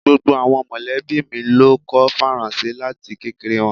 Gbogbo awọn mọlẹbi mi lo kọ́ Faransé lati kekere wọn